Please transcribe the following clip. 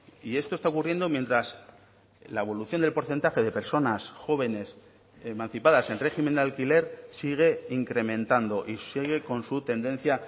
y esto está ocurriendo mientras la evolución del porcentaje de personas jóvenes emancipadas en régimen de alquiler sigue incrementando y sigue con su tendencia